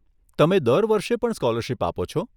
તમે દર વર્ષે પણ સ્કોલરશીપ આપો છો?